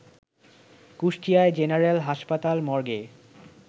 Kushtia general হাসপাতাল মর্গে